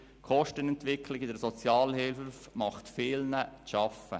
Die Kostenentwicklung in der Sozialhilfe macht vielen Gemeinden zu schaffen.